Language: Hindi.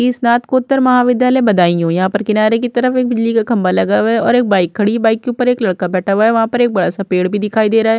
ई स्नातकोत्तर महाविद्यालय बदायूं। यहाँ पर किनारे की तरफ एक बिली का खंबा लगा हुआ है और एक बाइक खड़ी है। बाइक के ऊपर एक लड़का बैठा हुआ है। वहाँ पर एक बड़ा सा पेड़ भी दिखाई दे रहा है।